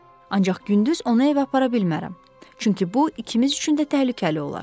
Ancaq gündüz onu evə apara bilmərəm, çünki bu ikimiz üçün də təhlükəli olar.